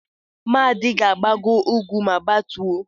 Madi ga-agbago úgwú ma gbatuo.